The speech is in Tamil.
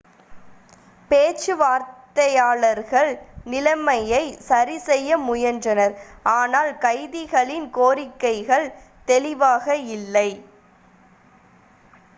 பேச்சுவார்த்தையாளர்கள் நிலைமையைச் சரிசெய்ய முயன்றனர் ஆனால் கைதிகளின் கோரிக்கைகள் தெளிவாக இல்லை